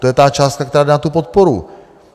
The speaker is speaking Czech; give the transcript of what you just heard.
To je ta částka, která jde na tu podporu.